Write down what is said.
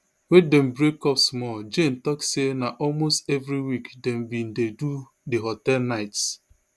wey dem break up small jane tok say na almost every week dem bin dey do di hotel nights